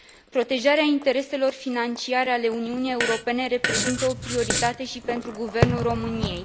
Protejarea intereselor financiare ale Uniunii Europene reprezintă o prioritate și pentru Guvernul României.